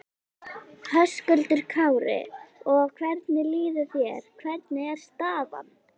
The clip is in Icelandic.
Höskuldur Kári: Og hvernig líður þér, hvernig er staðan?